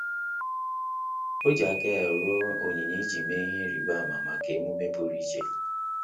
Ọ́ jì áká ya rụọ onyinye iji mee ihe ịrịba ámá maka emume pụ́rụ́ iche.